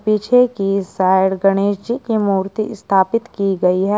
पीछे की साइड गणेश जी की मूर्ति स्थापित की गई है।